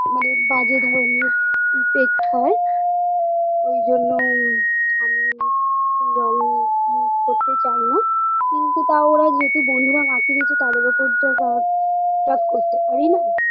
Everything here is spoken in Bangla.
মানে বাজে ধরনের effect হয় ওই জন্য আমি এই রং use করতে চাই না কিন্তু তাও ওরা যেহেতু বন্ধুরা মাখিয়ে দিয়েছে তাদের ওপর তো রাগ টাগ করতে পারিনা